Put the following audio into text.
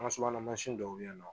An ka subahana mansin dɔw bɛ yen nɔ